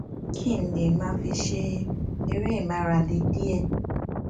kí n lè máa fi ṣe eré ìmárale diẹ